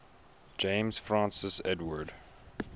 james francis edward